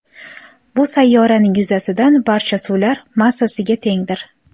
Bu sayyoraning yuzasidan barcha suvlar massasiga tengdir.